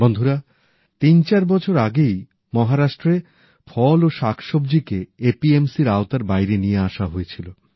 বন্ধুরা তিনচার বছর আগেই মহারাষ্ট্রে ফল ও শাকসব্জিকে এপিএমসিএর আওতার বাইরে নিয়ে আসা হয়েছিল